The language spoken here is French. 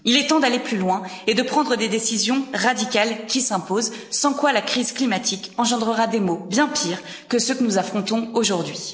Il est temps d'aller plus loin et de prendre les décisions radicales qui s'imposent, sans quoi la crise climatique engendrera des mots bien pire que ceux que nous affrontons aujourd'hui.